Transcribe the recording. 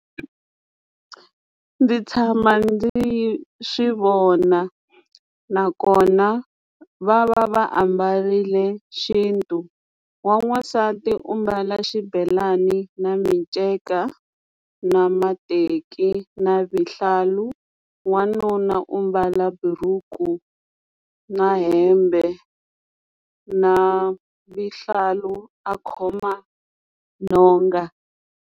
Ndzi tshama ndzi swi vona nakona va va va ambarile xintu wa n'wansati u mbala xibelani na minceka na mateki na vuhlalu wanuna u ambala buruku na hembe na vuhlalu a khoma nhonga.